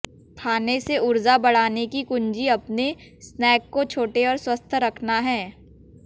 खाने से ऊर्जा बढ़ाने की कुंजी अपने स्नैक को छोटे और स्वस्थ रखना है